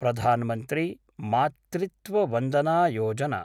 Pradhan Mantri Matritva Vandana Yojana